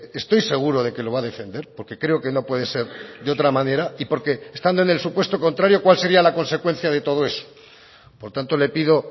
estoy seguro de que lo va a defender porque creo que no puede ser de otra manera y porque estando en el supuesto contrario cuál sería la consecuencia de todo eso por tanto le pido